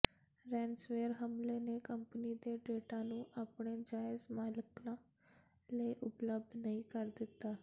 ransomware ਹਮਲੇ ਨੇ company ਦੇ ਡੇਟਾ ਨੂੰ ਆਪਣੇ ਜਾਇਜ਼ ਮਾਲਕਾਂ ਲਈ ਉਪਲਬਧ ਨਹੀਂ ਕਰ ਦਿੱਤਾ